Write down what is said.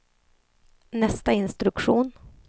nästa instruktion